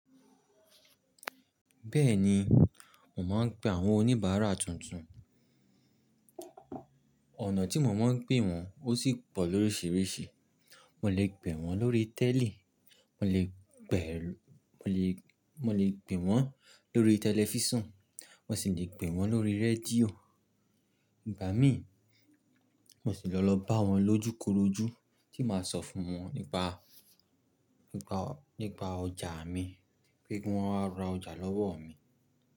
Bẹ́ẹ̀ni, mò máa ń pe àwọn oníbàárà tuntun. Ọ̀nà tí mo máa ń pè wọ́n ó sì pọ̀ lóríṣiríṣi. Mo lè pè wọ́n lórí tẹ́lí, mo lè mo lè pè wọ́n lórí tẹlifísàn, mo sì lè pè wọ́n lórí rédíò. Ìgbà mí, mo sì lọ bá wọn lójúkorojú tí màá sọ fún wọn nípa ọjà mi pé kí wọ́n wá ra ọjà lọ́wọ́ mi.